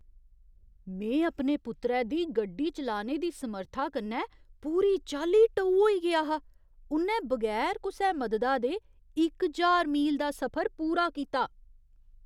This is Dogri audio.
में अपने पुत्तरै दी गड्डी चलाने दी समर्था कन्नै पूरी चाल्ली टऊ होई गेआ हा! उ'न्नै बगैर कुसै मददा दे इक ज्हार मील दा सफर पूरा कीता!